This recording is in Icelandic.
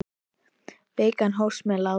Vikan hófst með látum.